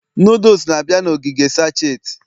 noodles na-abịa na ogige sacheti